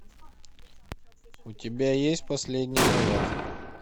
у тебя есть последний наряд